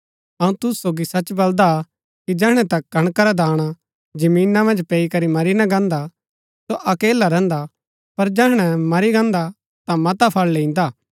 अऊँ तुसू सोगी सच बलदा कि जैहणै तक कणका रा दाणा जमीना मन्ज पैई करी मरी ना गान्दा सो अकेला रैहन्दा हा पर जैहणै मरी गान्दा ता मता फल लैईन्दा हा